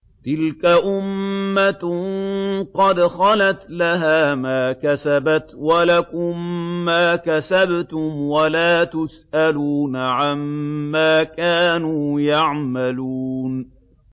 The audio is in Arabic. تِلْكَ أُمَّةٌ قَدْ خَلَتْ ۖ لَهَا مَا كَسَبَتْ وَلَكُم مَّا كَسَبْتُمْ ۖ وَلَا تُسْأَلُونَ عَمَّا كَانُوا يَعْمَلُونَ